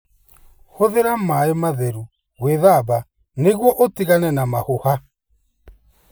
Hũthĩra maĩ matheru gwĩthamba nĩguo ũtigane na mahũha.